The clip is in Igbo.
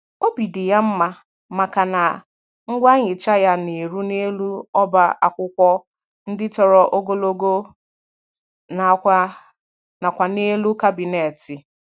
Obi dị ya mma maka na ngwa nhicha ya na-eru n'elu oba akwụkwọ ndị toro ogologo nakwa n'elu kabineti